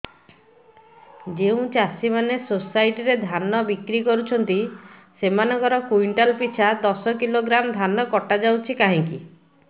ଯେଉଁ ଚାଷୀ ମାନେ ସୋସାଇଟି ରେ ଧାନ ବିକ୍ରି କରୁଛନ୍ତି ସେମାନଙ୍କର କୁଇଣ୍ଟାଲ ପିଛା ଦଶ କିଲୋଗ୍ରାମ ଧାନ କଟା ଯାଉଛି କାହିଁକି